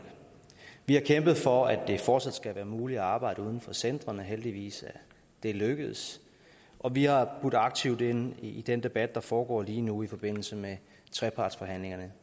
vi har kæmpet for at det fortsat skal være muligt at arbejde uden for centrene og heldigvis er det lykkedes og vi har budt aktivt ind med ideer i den debat der foregår lige nu i forbindelse med trepartsforhandlingerne